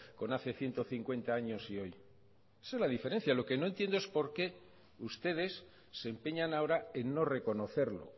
con hace ciento cincuenta años y hoy esa es la diferencia lo que no entiendo es por qué ustedes se empeñan ahora en no reconocerlo